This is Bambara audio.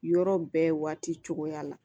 Yɔrɔ bɛɛ waati cogoya la